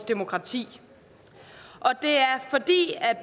demokrati og det er